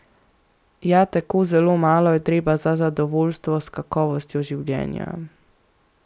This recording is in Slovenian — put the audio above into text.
Ja, tako zelo malo je treba za zadovoljstvo s kakovostjo življenja.